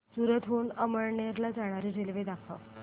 सूरत हून अमळनेर ला जाणारी रेल्वे दाखव